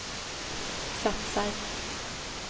satsar